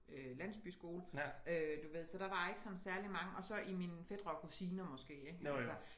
Øh landsbyskole øh du ved så der var ikke sådan særligt mange og så i mine fætre og kusiner måske ik altså